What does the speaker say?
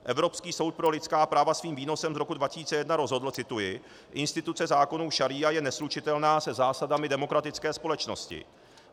Evropský soud pro lidská práva svým výnosem z roku 2001 rozhodl - cituji: Instituce zákonů šaría je neslučitelná se zásadami demokratické společnosti.